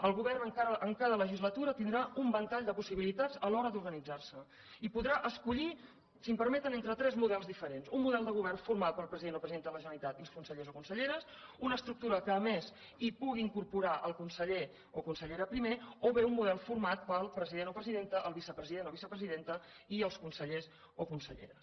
el govern en cada legislatura tindrà un ventall de possibilitats a l’hora d’organitzar se i podrà escollir si em permeten entre tres models diferents un model de govern format pel president o presidenta de la generalitat i els consellers o conselleres una estructura que a més hi pugui incorporar el conseller o consellera primer o bé un model format pel president o presidenta el vicepresident o vicepresidenta i els consellers o conselleres